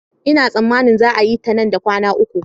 Ina tsammanin za a yi ta nan da kwana uku